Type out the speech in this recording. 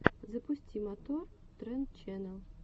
запусти мотор тренд ченнел